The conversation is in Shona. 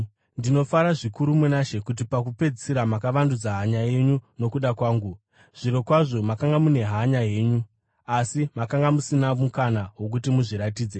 Ndinofara zvikuru muna She kuti pakupedzisira makavandudza hanya yenyu nokuda kwangu. Zvirokwazvo, makanga mune hanya henyu, asi makanga musina mukana wokuti muzviratidze.